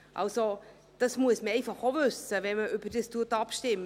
Dies muss man einfach auch wissen, wenn man darüber abstimmt.